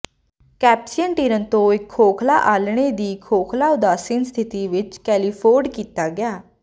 Caspian tern ਤੋਂ ਇਕ ਖੋਖਲਾ ਆਲ੍ਹਣੇ ਦੀ ਖੋਖਲਾ ਉਦਾਸੀਨ ਸਥਿਤੀ ਵਿਚ ਕੈਲੀਫੋਰਡ ਕੀਤਾ ਗਿਆ